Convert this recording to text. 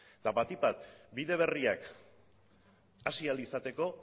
eta bati bat bide berriak hasi ahal izateko